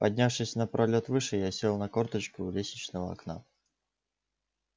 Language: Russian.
поднявшись на пролёт выше я сел на корточки у лестничного окна